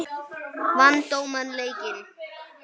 Vann dómarinn leikinn?